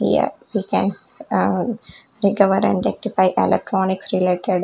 Here we can recover and rectify electronics related--